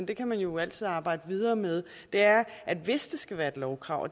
kan man jo altid arbejde videre med er hvis det skal være et lovkrav